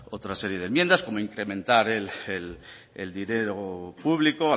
otra serie de enmiendas como incrementar el dinero público